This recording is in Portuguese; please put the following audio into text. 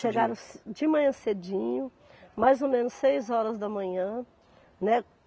Chegaram ce de manhã cedinho, mais ou menos seis horas da manhã, né.